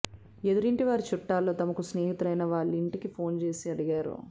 ఎదురింటి వారి చుట్టాల్లో తమకు స్నేహితులైన వాళ్ళింటికి ఫోన్ చేసి అడిగారు